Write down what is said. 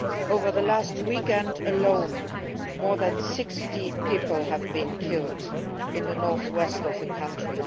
Over the last weekend alone, more than 60 people were killed in the north west of the country.